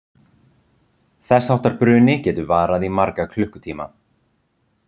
þess háttar bruni getur varað í marga klukkutíma